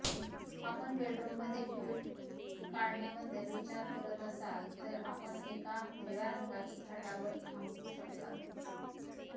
आपण बेडरूममध्ये ट्यूल काढण्याबद्दल विचार करत असाल तर आपण एका हिरव्या रंगाची छटावर थांबू शकता